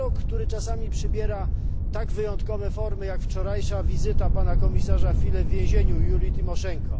Dialog, który czasami przybiera tak wyjątkowe formy jak wczorajsza wizyta pana komisarza Füle w więzieniu Julii Tymoszenko.